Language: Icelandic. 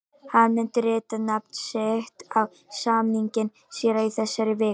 Hann mun rita nafn sitt á samninginn síðar í þessari viku.